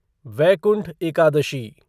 Vaikuntha Ekadashi